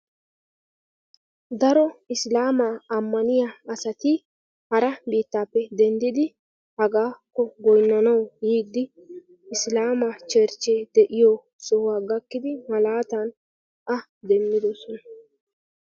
daro isilaamaa ammaniyaa asati hara biittaappe denddidi hagaappe goynnanawu biiddi isilaamaa cherchchee de'iyoo sohuwaa gakkidi malaatan a demmidoosona.